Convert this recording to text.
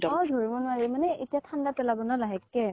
অ ধৰিব নোৱাৰি মানে এতিয়া ঠান্দা পেলাব ন, লাহেকে